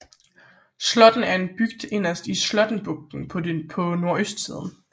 Slåtten er en bygd inderst i Slåttenbugten på nordøstsiden